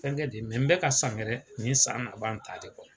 Fɛnkɛ di mɛ n bɛka san wɛrɛ, nin san laban ta de kɔ.